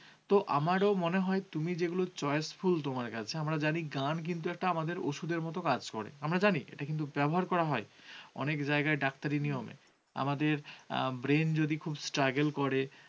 তো আমারও মনে হয়, তুমি যেগুলো choiceful তোমার কাছে আমরা জানি গান কিন্তু আমাদের ওষুধের মতো কাজ করে। আমরা জানি এটা কিন্তু ব্যবহার করা হয়, অনেক জায়গায় ডাক্তারি নিয়মে আমাদের brain যদি খুব struggle করে।